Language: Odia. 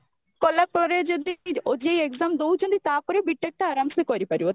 କଲାପରେ ଯଦି OJEE exam ଦଉଛନ୍ତି ତାପରେ B.TECH ଟା ଆରମସେ କରିପାରିବ